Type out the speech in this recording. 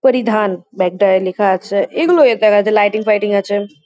পরিধান ব্যাগ -টায় লেখা আছে। এগুলো এ দেখা যাচ্ছে লাইটিং ফাইটিং আছে।